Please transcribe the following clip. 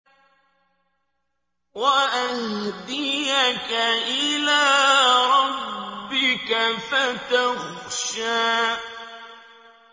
وَأَهْدِيَكَ إِلَىٰ رَبِّكَ فَتَخْشَىٰ